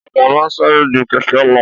Ọ̀kadà ma n sáré ju kẹ̀kẹ́ lọ